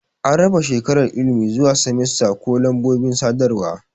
An raba shekarar ilimi zuwa semesta ko lambobin sadarwa.